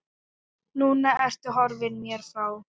Núna ertu horfin mér frá.